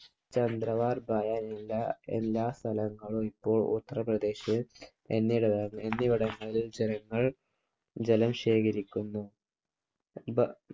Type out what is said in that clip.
ചന്ദ്രവാർ ബഴവില എല്ലാ സ്ഥലങ്ങളും ഇപ്പോൾ ഉത്തർപ്രദേശിൽ എന്നിവിടങ്ങളിൽ ജനങ്ങൾ ജലം ശേഖരിക്കുന്നു. ഇവർ